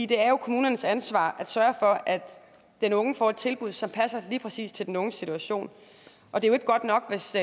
det er jo kommunernes ansvar at sørge for at den unge får et tilbud som passer lige præcis til den unges situation og det er ikke godt nok hvis